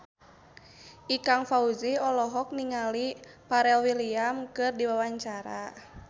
Ikang Fawzi olohok ningali Pharrell Williams keur diwawancara